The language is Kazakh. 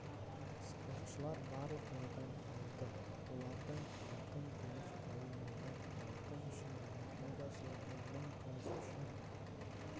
спортшылар барлығы медаль алды олардың алтын күміс қола медаль алтын үшін олимпиадашыларға мың күміс үшін